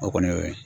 O kɔni y'o ye